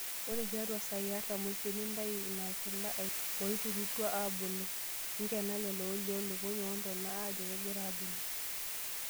Ore tiatwa saai artam oisiet, nintayu inakila aiken ilanterera oiterutwa aabulu(nkena lelo olioo lukuny woontona ajo kegira aabulu).